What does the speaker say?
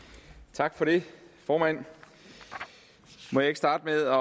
tak for det formand må jeg ikke starte med